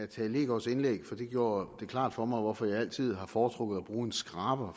tage leegaards indlæg for det gjorde det klart for mig hvorfor jeg altid har foretrukket at bruge en skraber